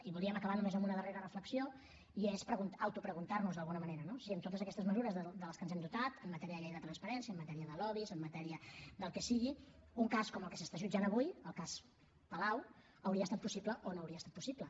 i voldríem acabar només amb una darrera reflexió i és autopreguntar nos d’alguna manera no si amb totes aquestes mesures de les que ens hem dotat en matèria de llei de transparència en matèria de lobbys en matèria del que sigui un cas com el que s’està jutjant avui el cas palau hauria estat possible o no hauria estat possible